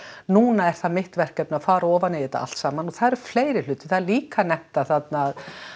núna er það mitt verkefni að fara ofan í þetta allt saman og það eru fleiri hlutir það eru líka þetta þarna